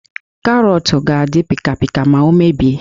Karọọtụ ga-adị pịkapịka ma o mebie